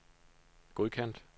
godkendt